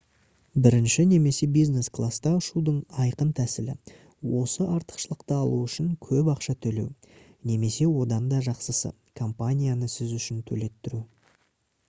бірінші немесе бизнес класста ұшудың айқын тәсілі — осы артықшылықты алу үшін көп ақша төлеу немесе одан да жақсысы — компанияны сіз үшін төлеттіру